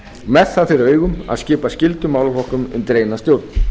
með það fyrir augum að skipa skyldum málaflokkum undir eina stjórn